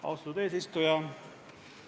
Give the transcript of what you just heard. Austatud eesistuja!